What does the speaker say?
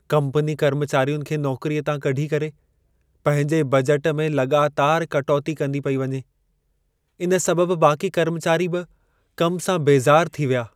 Company कर्मचारियुनि खे नौकरीअ तां कढी करे पंहिंजे बजट में लॻातारि कटौती कंदी पेई वञे। इन सबबि बाक़ी कर्मचारी बि कम सां बेज़ारु थी विया।